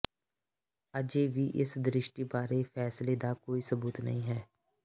ਅਜੇ ਵੀ ਇਸ ਦ੍ਰਿਸ਼ਟੀ ਬਾਰੇ ਫੈਸਲੇ ਦਾ ਕੋਈ ਸਬੂਤ ਨਹੀਂ ਹੈ